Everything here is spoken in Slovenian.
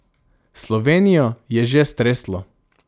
Slovenijo je že streslo.